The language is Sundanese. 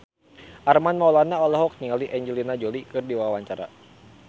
Armand Maulana olohok ningali Angelina Jolie keur diwawancara